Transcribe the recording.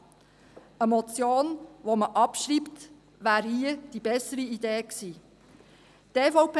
Eine Motion, die man abschreibt, wäre hier die bessere Idee gewesen.